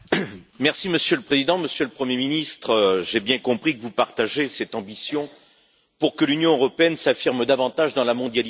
Monsieur le Président, Monsieur le Premier ministre, j'ai bien compris que vous partagez cette ambition pour que l'Union européenne s'affirme davantage dans la mondialisation.